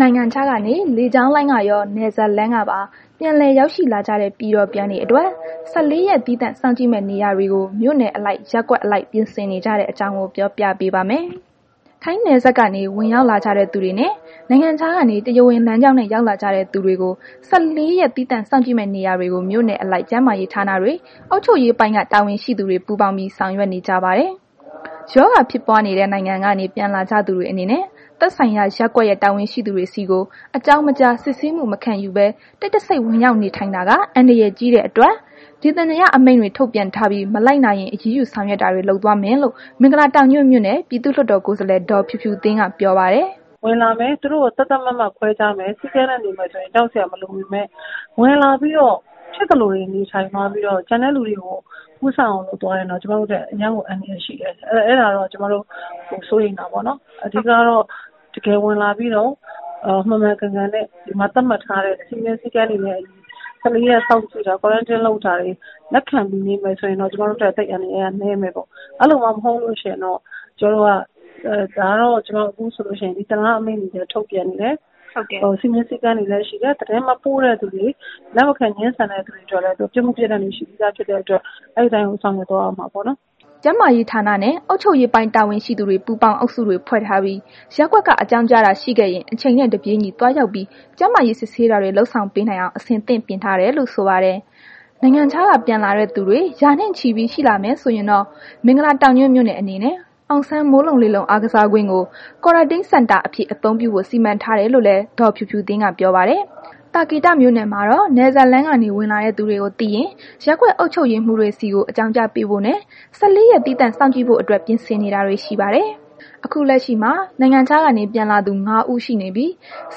နိုင်ငံခြားကနေ လေကြောင်းလိုင်းကရော နယ်စပ်လမ်းကပါ ပြန်လည်ရောက်ရှိလာကြတဲ့ ပြည်တော်ပြန်တွေအတွက် ၁၄ ရက် သီးသန့် စောင့်ကြည့်မယ့် နေရာတွေကို မြို့နယ်အလိုက်၊ ရပ်ကွက်အလိုက် ပြင်ဆင်နေကြတဲ့ အကြောင်းကို ပြောပြပေးပါမယ်။ ထိုင်းနယ်စပ်က ဝင်ရောက်လာကြတဲ့သူတွေနဲ့ နိုင်ငံခြားကနေ တရားဝင်လမ်းကြောင်းနဲ့ရောက်လာကြတဲ့သူတွေကို ၁၄ ရက် သီးသန့်စောင့်ကြည့်မယ့် နေရာတွေကို မြို့နယ်အလိုက် ကျန်းးမာရေးဌာနတွေ အုပ်ချုပ်ရေးပိုင်းက တာဝန်ရှိသူတွေ ပူးပေါင်းပြီး ဆောင်ရွက်နေကြပါတယ်။ ရောဂါဖြစ်ပွားနေတဲ့ နိုင်ငံကနေ ပြန်လာကြသူတွေအနေနဲ့ သက်ဆိုင်ရာ ရပ်ကွက်ရဲ့ တာဝန်ရှိသူတွေဆီကို အကြောင်းမကြား၊ စစ်ဆေးမှု မခံယူဘဲ တိတ်တဆိတ်ဝင်ရောက်နေထိုင်တာက အန္တရာယ်ကြီးတဲ့အတွက် ဒေသန္တရ အမိန့်တွေ ထုတ်ပြန်ထားပြီး မလိုက်နာရင် အရေးယူဆောင်ရွက်တာတွေ လုပ်သွားမယ်လို့ မင်္ဂလာတောင်ညွန့်မြိုနယ် ပြည်သူ့လွတ်တော်ကိုယ်စားလှယ် ဒေါ်ဖြူဖြူသင်းက ပြောပါတယ်။ သီးသန့်နေမယ်ဆိုရင် ကြောက်စရာမလိုပေမဲ့ ဖြစ်သလိုတွေ နေထိုင်သွားပြီးတော့ ကျန်တဲ့လူတွေကို ကူးစက်အောင် လုပ်သွားရင်တော့ ကျမတို့အတွက် အရမ်းကို အန္တရာယ်ရှိတယ်။ အဲ့တာကိုတော့ ကျမတို့စိုးရိမ်တာပေါ့နော်။ အဓိကကတော့ ဝင်လာပြီးတော့ တကယ်မှန်မှန်ကန်ကန်နဲ့ သတ်မှတ်ထားတဲ့ စည်းမျဉ်း၊ စည်းကမ်းတွေနဲ့ အညီ ၁၄ ရက်စောင့်ကြည့်တာကို လက်ခံပြီးနေမယ်ဆိုရင်တော့ ကျမတို့အတွက် အန္တရာယ်က နည်းမယ်ပေါ့။ အဲ့လိုမှမဟုတ်ဘူးဆိုလို့ရှိရင်တော့ ကျမတို့ ဒေသန္တရအမိန့်တွေကိုလည်း ထုတ်ပြန်နေတယ်။ စည်းမျဉ်း၊ စည်းကမ်းတွေလည်း ရှိတယ်။ လက်မခံဘဲ ငြင်းဆန်တဲ့သူတွေအတွက်လည်း ပြစ်မှုပြစ်ဒဏ်တွေ ရှိပြီးသား ဖြစ်တဲ့ အတွက် အဲ့ဒီအတိုင်းပဲ ဆောင်ရွက်သွားရမှာပေါ့နော်။” ကျန်းမားရေဌာနနဲ့ အုပ်ချုပ်ရေးပိုင်းတာဝန်ရှိသူတွေ ပူးပေါင်းအုပ်စုတွေဖွဲ့ထားပြီး၊ ရပ်ကွက်က အကြောင်ကြားတာရှိခဲ့ရင် အချိန်နဲ့ တပြေးညီ သွားရောက်ပြီး ကျန်းမာရေး စစ်ဆေးတာတွေ လုပ်ဆောင်ပေးနိုင်အောင် အဆင်သင့်ပြင်ဆင်ထားတယ်လို့ဆိုပါတယ်။ နိုင်ငံခြားက ပြန်လာတဲ့ သူတွေ ရာနဲ့ချီပြီး ရှိလာမယ်ဆိုရင်တော့ မင်္ဂလာတောင်ညွန့်မြို့နယ်အနေနဲ့ အောင်ဆန်း မိုးလုံလေလုံ အားကစားကွင်းကို Quarantine Center အဖြစ် အသုံးပြုဖို့ စီမံထားတယ်လို့လည်း ဒေါ်ဖြူဖြူသင်းက ပြောပါတယ်။ သာကေတမြို့နယ်မှာတော့ နယ်စပ်လမ်းကနေ ဝင်လာတဲ့သူတွေကိုသိရင် ရပ်ကွက်အုပ်ချုပ်ရေးမှုးတွေဆီကို အကြောင်းကြားပေးဖို့နှင့် ၁၄ ရက်သီးသန့်စောင့်ကြည့်ဖို့အတွက် ပြင်ဆင်နေတာတွေရှိပါတယ်။ ခုလက်ရှိမှာ နိုင်ငံခြားကနေ ပြန်လာသူ ငါးဦး ရှိနေပြီး ၁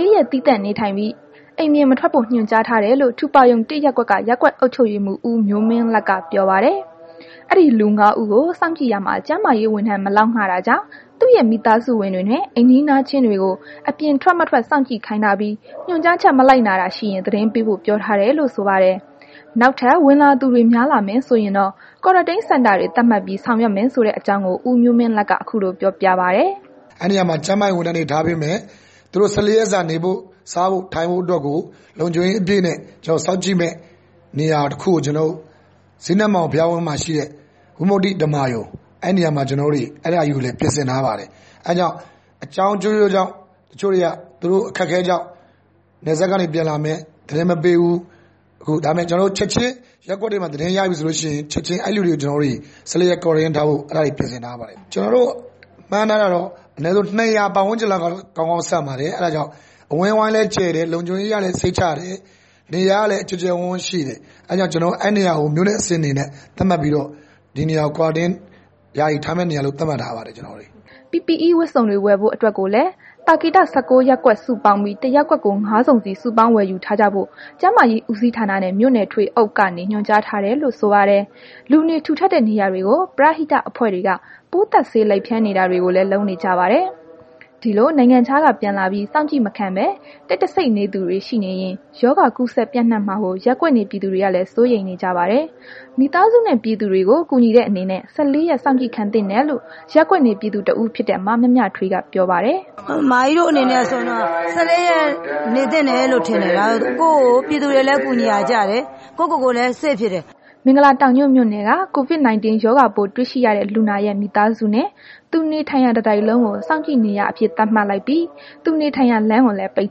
၄ ရက် သီးသန့်နေထိုင်ပြီး အိမ်ပြင်မထွက်ဖို့ ညွှန်ကြားထားတယ်လို့ ထူပါရုံ ၁ ရပ်ကွက်က ရပ်ကွက် အုပ်ချုပ်ရေးမှူး ဦးမျိုးမင်းလတ်က ပြောပါတယ်။ အဲ့ဒီလူ ငါး ဦးကို စောင့်ကြည့်ရာမှာ ကျန်းမာရေး ဝန်ထမ်းမလောက်ငှတာကြောင့် သူ့ရဲ့ မိသားစုဝင်တွေနဲ့ အိမ်နီးချင်းတွေကို အပြင်ထွက်မထွက် စောင့်ကြည့်ခိုင်းထားပြီး ညွှန်ကြားချက် မလိုက်နာတာရှိရင် သတင်းပေးဖို့ ပြောထားတယ်လို့ ဆိုပါတယ်။ နောက်ထပ် ဝင်လာသူ များလာမယ်ဆိုရင်တော့ Quarantine Center တွေသတ်မှတ်ပြီး ဆောင်ရွက်မယ် ဆိုတဲ့ အကြောင်းကို ဦးမျိုးမင်းလတ်က ခုလို ပြောပြပါတယ်။ "အဲ့ဒီနေရာမှာ ကျန်းမာရေး ဝန်ထမ်းတွေ ထားပေးမယ်။ သူတို့ ၁၄ ရက်စာ နေဖို့ စားဖို့ အတွက်ကို လုံခြုံရေး အပြည့်နဲ့ စောင့်ကြည့်မယ် နေရာတခုကို ကျနော်တို့ ဇိနမာန်အောင် ဘုရားဝင်းအတွင်းမှာရှိတဲ့ ဝိမုတ္တိ ဓမ္မာရုံ အဲ့ဒါကြီးကို ကျနော်တို့ ပြင်ဆင်ထားပါတယ်။ အဲ့ဒါကြောင့် အကြောင်းအမျိုးမျိုးကြောင့် သူတို့ အခက်အခဲကြောင့် နယ်စပ်ကနေ ပြန်လာမယ် သတင်းမပေးဘူး။ ဒါပေမဲ့ ချက်ချင်း ရပ်ကွက်ထဲမှာ သတင်းရပီဆိုလို့ရှိရင် ချက်ချင်း Quarantine ထားဖို့ ပြင်ဆင်ထားပါတယ်။ ကျနော်တို့ မှန်းထားတာတော့ အနည်းဆုံး ၂၀၀ ပတ်ဝန်းကျင်လောက်ကတော့ ကောင်းကောင်း ဆန့်ပါတယ်။ အဝန်းအဝိုင်းလည်း ကျယ်တယ် နေရာအနေအထားကလည်း စိတ်ချရတယ် နေရာကလည်း ကျယ်ကျယ်ဝန်းဝန်းရှိတယ်။ အဲ့တာကြောင့် အဲ့ဒီနေရာကို မြို့နယ်အဆင့် အနေနဲ့ ကျနော်တို့ Quarantine ထားမယ့် နေရာလို့ သတ်မှတ်ထားပါတယ်။” PPE ဝတ်စုံတွေ ဝယ်ဖို့အတွက်ကိုလည်း သာကေတ ၁၉ ရပ်ကွက် စုပေါင်းပြီး တရပ်ကွက်ကို ငါး စုံစီ စုပေါင်းဝယ်ယူထားကြဖို့ ကျန်းမာရေးဦးစီးဌာနနဲ့ မြို့နယ် ထွေအုပ်ကနေ ညွှန်ကြားထားတယ်လို့ ဆိုပါတယ်။ လူနေထူထပ်တဲ့ နေရာတွေကို ပရဟိတ အဖွဲ့တွေက ပိုးသတ်ဆေး လိုက်ဖြန်းနေတာတွေကိုလည်း လုပ်နေကြပါတယ်။ ဒီလို နိုင်ငံခြားကပြန်လာပြီး စောင့်ကြည့်မခံဘဲ တိတ်တဆိတ်နေတဲ့သူတွေရှိနေရင် ရောဂါကူးစက်ပျံ့နှံ့မှာကို ရပ်ကွက်နေ ပြည်သူတွေကလည်း စိုးရိမ်နေကြပါတယ်။ မိသားစုနဲ့ ပြည်သူတွေကို ကူညီတဲ့အနေနဲ့ ၁၄ ရက် စောင့်ကြည့်ခံသင့်တယ်လို့ ရပ်ကွက်နေ ပြည်သူတဦး ဖြစ်တဲ့ မမြမြထွေးက ပြောပါတယ်။ “မကြီးတို့ အနေနဲ့ဆိုရင်တော့ ၁၄ ရက်တော့ နေသင့်တယ်လို့ထင်တယ်။ ပြည်သူကိုလည်း ကူညီရာကျတယ် သူတို့တွေလည်း save ဖြစ်တယ်။" မင်္ဂလာတောင်ညွန့်မြို့နယ်က COVID-19 ရောဂါပိုးတွေ့ရှိရတဲ့ လူနာရဲ့ မိသားစုနဲ့ သူနေထိုင်ရာ တတိုက်လုံးကို စောင့်ကြည့်နေရာအဖြစ် သတ်မှတ်လိုက်ပြီး သူနေထိုင်ရာလမ်းကိုလည်း ပိတ်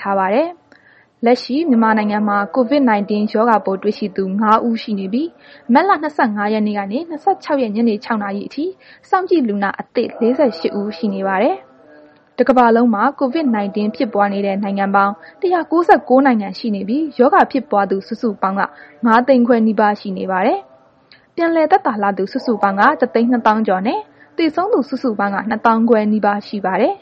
ထားပါတယ်။ လက်ရှိ မြန်မာနိုင်ငံမှာ COVID-19 ရောဂါပိုးတွေ့ရှိသူ ငါး ဦးရှိနေပြီး မတ်လ ၂၅ ရက်နေ့ကနေ ၂၆ ရက်နေ့ ညနေ ၆ နာရီအထိ စောင့်ကြည့်လူနာအသစ် ၄၈ ဦး ရှိနေပါတယ်။ တစ်ကမ္ဘာလုံးမှာ COVID-19 ဖြစ်ပွားနေတဲ့ နိုင်ငံပေါင်း ၁၉၉ နိုင်ငံ ရှိနေပြီး ရောဂါဖြစ်ပွားသူစုစုပေါင်း က ၅၅၀,၀၀၀ နီးပါး ရှိနေပါတယ်။ ပြန်လည်သက်သာလာသူ စုစုပေါင်းက ၁၂၀,၀၀၀ ကျော် ရှိနေပြီး သေဆုံးသူ စုစုပေါင်းက ၂၅,၀၀၀ နီးပါး ရှိနေပါတယ်။